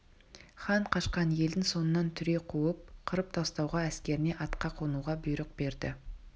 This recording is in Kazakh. хан қашқан елдің соңынан түре қуып қырып тастауға әскеріне атқа қонуға бұйрық берді